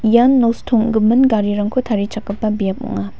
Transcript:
ian nosto ong·gimin garirangko tarichakgipa biap ong·a.